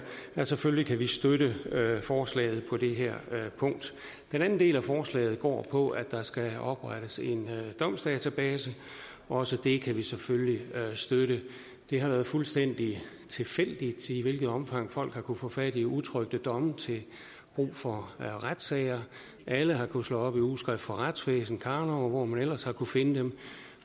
at selvfølgelig kan vi støtte forslaget på det her punkt den anden del af forslaget går på at der skal oprettes en domsdatabase også det kan vi selvfølgelig støtte det har været fuldstændig tilfældigt i hvilket omfang folk har kunnet få fat i utrykte domme til brug for retssager alle har kunnet slå op i ugeskrift for retsvæsen karnov og hvor man ellers har kunnet finde dem